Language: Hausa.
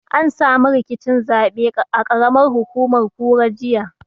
An samu rikicin zaɓe a ƙaramar hukumar kura, jiya.